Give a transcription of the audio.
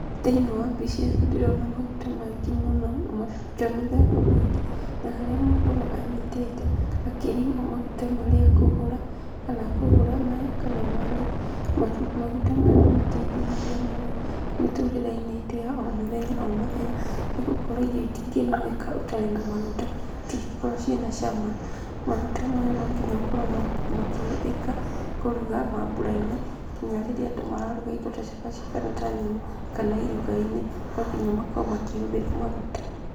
Thĩinĩ wa mbica ĩno ndĩrona maguta maingĩ mũno. Maguta mĩthemba mĩingĩ na haria mũndũ anyitĩte akĩrigwo maguta marĩa ekũgũra. Kana akũgũra maya kana marĩa. Maguta maya nĩmateithĩrĩirie mũno mĩtũrĩreinĩ itũ ya o mũthenya o mũthenya . Nĩgũkorwo irio itingĩrugĩka itarĩ na maguta itingĩkorwo ciĩ na cama. Maguta maya nonginya makorwo makĩhũthĩka kũruga mamburainĩ nginya rĩrĩa andũ mararuga indo ta cabaci kana ta nyama kana irugainĩ nonginya makorwo mahũthĩre maguta.